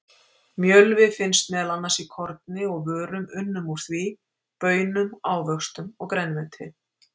Mjölvi finnst meðal annars í korni og vörum unnum úr því, baunum, ávöxtum og grænmeti.